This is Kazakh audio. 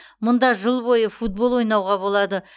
мұнда жыл бойы футбол ойнауға болады